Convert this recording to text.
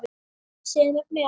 Sem er met.